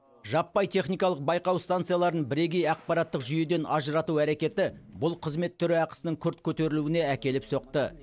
жаппай техникалық байқау станцияларын бірегей ақпараттық жүйеден ажырату әрекеті бұл қызмет түрі ақысының күрт көтерілуіне әкеліп соқты